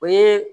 O ye